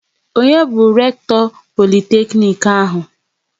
Onye bu Lekto Politeknic ahụ?